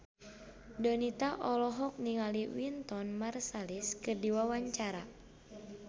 Donita olohok ningali Wynton Marsalis keur diwawancara